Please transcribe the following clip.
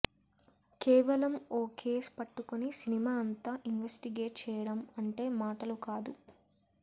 కేవలం ఓ కేస్ పట్టుకుని సినిమా అంతా ఇన్వెస్టిగేట్ చేయడం అంటే మాటలు కాదు